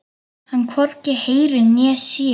Hann hvorki heyrir né sér.